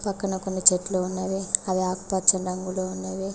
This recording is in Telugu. పక్కన కొన్ని చెట్లు ఉన్నవి అవి ఆకు పచ్చని రంగులో ఉన్నవి.